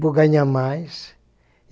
Vou ganhar mais.